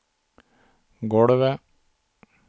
golvet